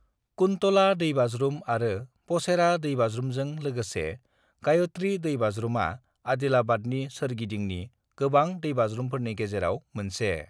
कुन्तला दैबाज्रुम आरो पचेरा दैबाज्रुमजों लोगोसे गायत्री दैबाज्रुमा आदिलाबादनि सोरगिदिंनि गोबां दैबाज्रुमफोरनि गेजेराव मोनसे।